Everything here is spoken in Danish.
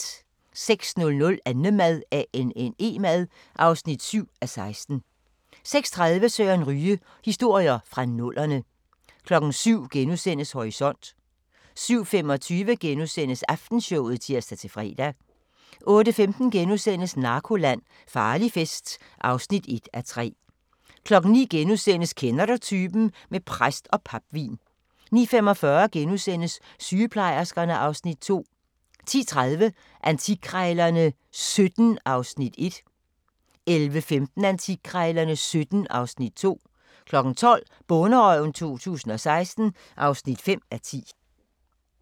06:00: Annemad (7:16) 06:30: Søren Ryge: Historier fra nullerne 07:00: Horisont * 07:25: Aftenshowet *(tir-fre) 08:15: Narkoland - Farlig fest (1:3)* 09:00: Kender du typen? - med præst og papvin * 09:45: Sygeplejerskerne (Afs. 2)* 10:30: Antikkrejlerne XVII (Afs. 1) 11:15: Antikkrejlerne XVII (Afs. 2) 12:00: Bonderøven 2016 (5:10)